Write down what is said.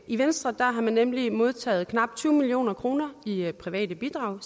i venstre har man nemlig modtaget knap tyve million kroner i i private bidrag